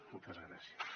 moltes gràcies